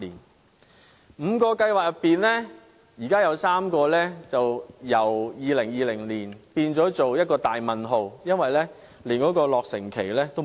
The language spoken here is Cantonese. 在現時5個計劃中，有3個的落成時間更由2020年變了一個大問號，是連落成日期也欠奉的。